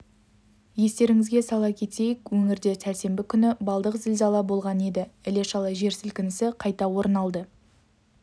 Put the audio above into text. естеріңізге сала кетейік өңірде сәрсенбі күні балдық зілзала болған еді іле-шала жер сілкінісі қайта орын алды